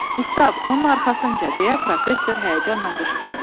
Qustav, onun arxasınca, deyə professor həyəcanla qışqırdı.